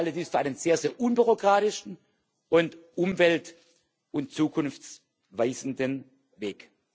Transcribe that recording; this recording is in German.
Ich halte das für einen sehr unbürokratischen und umwelt und zukunftsweisenden Weg.